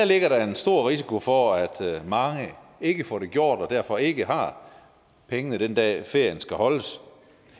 ligger der en stor risiko for at mange ikke får det gjort og derfor ikke har pengene den dag ferien skal holdes